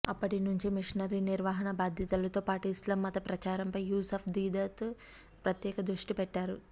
అప్పటి నుంచి మిషనరీ నిర్వహణ బాధ్యతలతో పాటు ఇస్లాం మత ప్రచారంపై యూసుఫ్ దీదత్ ప్రత్యేక దృష్టి పెట్టారు